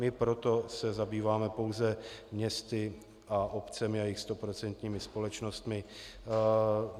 My se proto zabýváme pouze městy a obcemi a jejich stoprocentními společnostmi.